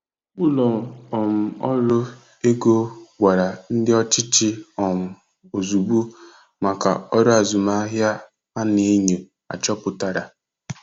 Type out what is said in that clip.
Ụlọ um ọrụ ego gwara ndị ọchịchị um ozugbo maka ọrụ azụmahịa a na-enyo achọpụtara.